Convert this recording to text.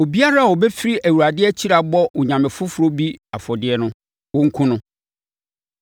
“Obiara a ɔbɛfiri Awurade akyiri abɔ onyame foforɔ bi afɔdeɛ no, wɔnkum no.